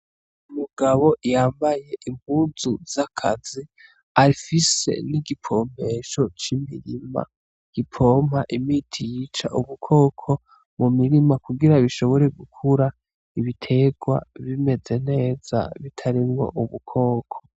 Umugabo yambaye impuzu z'akazi afise n'igipompesho c'imirima gipompa imiti yica ubukoko mu mirima kugira bishobore gukura ibiterwa bimeze neza bitarimwo ubukoko.